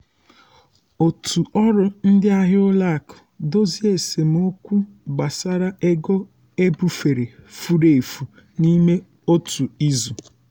òtù ọrụ ndị ahịa ụlọ akụ dozie esemokwu gbasara ego ebufere furu efu n'ime otu izu.